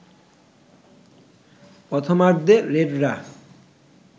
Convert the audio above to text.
প্রথমার্ধে রেডরা